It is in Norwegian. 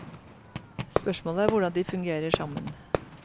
Spørsmålet er hvordan de fungerer sammen.